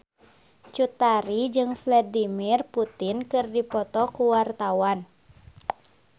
Cut Tari jeung Vladimir Putin keur dipoto ku wartawan